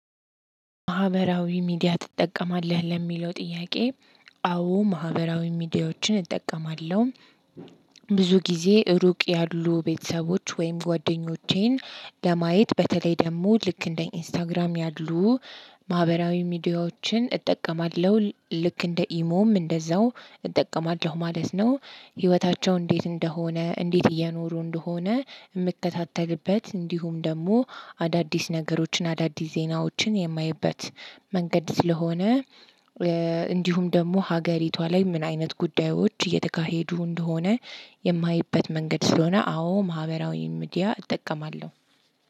ማህበራዊ ሚዲያ ትጠቀማለህ ለሚለው ጥያቄ? አዎ ማህበራዊ ሚዲያዎችን እጠቀማለሁ። ብዙ ጊዜ ሩቅ ያሉ ቤተሰቦች ወይም ጓደኞቼን ለማየት በተለይ ደግሞ ልክ እንደ ኢንስታግራም ያሉ ማህበራዊ ሚድያዎችን እጠቀማለሁ። ልክ እንደ ኢሞም እንደዛው እጠቀማለሁ ማለት ነው። ህይወታቸው እንዴት እንደሆነ እንዴት እየኖሩ እንደሆነ የምከታተልበት እንዲሁም ደግሞ አዳድስ ነገሮችን አዳድስ ዜናዎችን የማይበት መንገድ ስለሆነ። እንዲሁም ደግሞ ሀገሪቷ ላይ ምን አይነት ጉዳዮች እየተካሄዱ እንደሆነ። የማይበት መንገድ ስለሆነ። አዎ ማህበራዊ ምድያ እጠቀማለሁ።